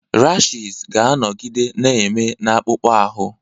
Rashịz ga-anọgide na-eme na-akpụkpọ ahụ.